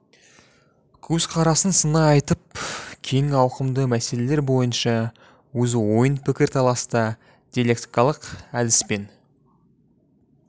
көзқарасын сынай айтып кең ауқымды мәселелер бойынша өз ойын пікір таласта диалектикалық әдіс пен